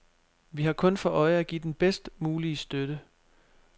Vi har kun for øje at give den bedst mulige støtte.